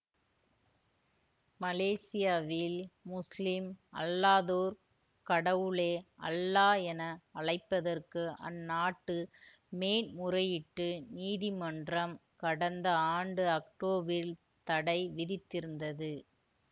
மலேசியாவில் முசுலிம் அல்லாதோர் கடவுளை அல்லா என அழைப்பதற்கு அந்நாட்டு மேன்முறையீட்டு நீதிமன்றம் கடந்த ஆண்டு அக்டோபில் தடை விதித்திருந்தது